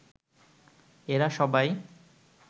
এরা সবাই